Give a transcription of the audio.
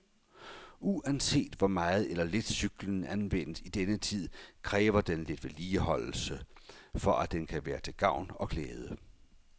Uanset hvor meget eller lidt cyklen anvendes i denne tid, kræver den lidt vedligeholdelse, for at den kan være til gavn og glæde.